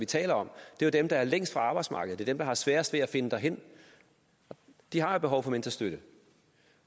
tale om er dem der er længst fra arbejdsmarkedet det der har sværest ved at finde derhen de har jo behov for mentorstøtte